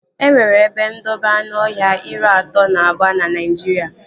E nwere ebe ndobe anụọhịa iri atọ na abụọ na Naijiria